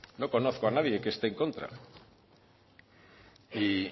no conozco a nadie que esté en contra y